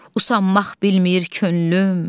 Uslanmaq bilmir könlüm.